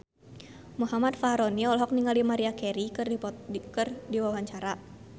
Muhammad Fachroni olohok ningali Maria Carey keur diwawancara